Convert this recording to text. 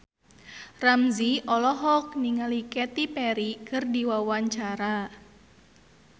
Ramzy olohok ningali Katy Perry keur diwawancara